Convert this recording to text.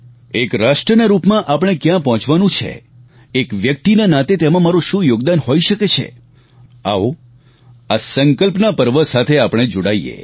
એક રાષ્ટ્રના રૂપમાં આપણે ક્યાં પહોંચવાનું છે એક વ્યક્તિના નાતે તેમાં મારૂં શું યોગદાન હોઈ શકે છે આવો આ સંકલ્પના પર્વ સાથે આપણે જોડાઈએ